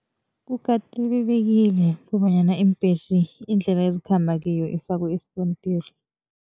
Kukatelelekile kobanyana iimbhesi indlela ezikhamba kiyo ifakwe isikontiri.